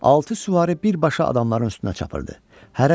Altı süvari birbaşa adamların üstünə çapırdı.